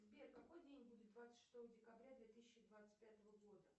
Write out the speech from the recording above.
сбер какой день будет двадцать шестого декабря две тысячи двадцать пятого года